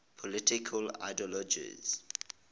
political ideologies